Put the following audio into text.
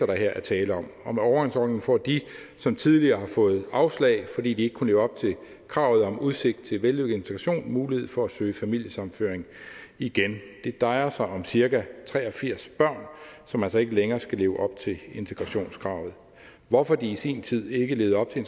der her er tale om og med overgangsordningen får de som tidligere har fået afslag fordi de ikke kunne leve op til kravet om udsigt til vellykket integration mulighed for at søge familiesammenføring igen det drejer sig om cirka tre og firs børn som altså ikke længere skal leve op til integrationskravet hvorfor de i sin tid ikke levede op til